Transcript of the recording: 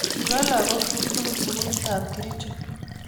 Kiba lagok chuk tugul sukulit ab Kericho